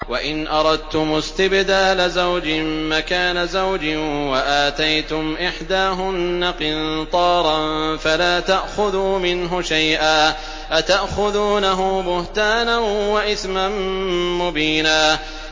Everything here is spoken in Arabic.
وَإِنْ أَرَدتُّمُ اسْتِبْدَالَ زَوْجٍ مَّكَانَ زَوْجٍ وَآتَيْتُمْ إِحْدَاهُنَّ قِنطَارًا فَلَا تَأْخُذُوا مِنْهُ شَيْئًا ۚ أَتَأْخُذُونَهُ بُهْتَانًا وَإِثْمًا مُّبِينًا